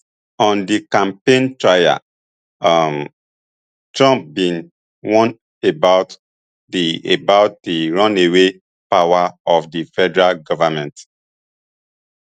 on di campaign trail um trump bin warn about di about di runaway power of the federal government